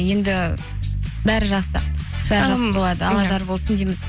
енді бәрі жақсы алла жар болсын дейміз